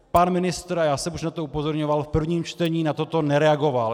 Pan ministr, a já jsem už na to upozorňoval v prvním čtení, na toto nereagoval.